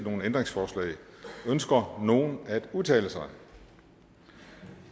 ændringsforslag ønsker nogen at udtale sig